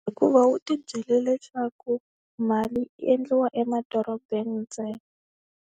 Hikuva u tibyele leswaku mali yi endliwa emadorobeni ntsena.